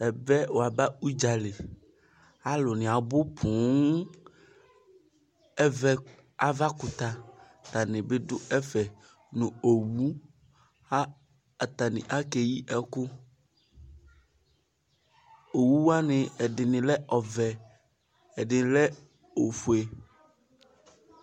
Ɛvɛ waba ʋdzali alʋ ni abʋ poo ɛvɛ avakʋtɛ tani bidʋ ɛfɛ nʋ owʋ atani ake yi ɛkʋ owʋ wani ɛdini lɛ ɔvɛ ɛdi lɛ ofʋe